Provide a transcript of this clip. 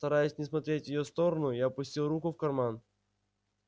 стараясь не смотреть в её сторону я опустил руку в карман